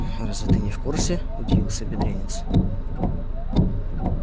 разве ты не в курсе удивился бедренец